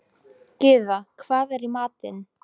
Gyða, hvað er í matinn?